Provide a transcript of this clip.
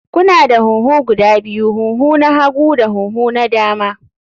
Kuna da huhu guda biyu, huhu na hagu da huhu na dama.